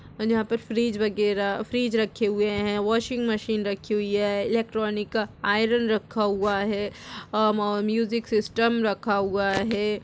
और यहाँं पर फ्रिज वगैरा फ्रिज रखे हुए हैं। वाशिंग मशीन रखी हुई है। इलेक्ट्रॉनिक का आरन रखा हुआ है। अ म्यूजिक सिस्टम रखा हुआ है।